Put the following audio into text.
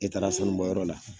E taara sanu bɔ yɔrɔ la